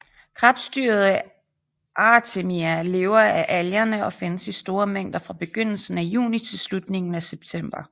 Krebsdyret Artemia lever af algerne og findes i store mængder fra begyndelsen af juni til slutningen af september